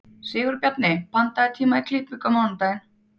Sigurbjarni, pantaðu tíma í klippingu á mánudaginn.